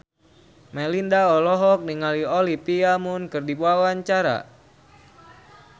Melinda olohok ningali Olivia Munn keur diwawancara